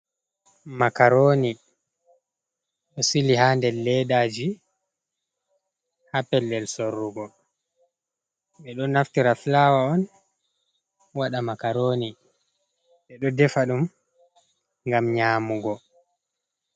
Makaroni, ɗo sili ha nder leddaji ha pellel sorrugo. Ɓeɗo naftira fulawa on, waɗa makaroni ɓeɗo defa ɗum ngam nyamugo.